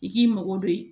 I k'i mago don